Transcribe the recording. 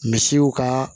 Misiw ka